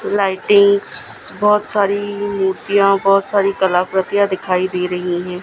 Lightings बहोत सारी मूर्तियां बहोत सारी कलाकृतियां दिखाई दे रही है।